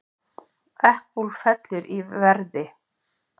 Apple fellur í verði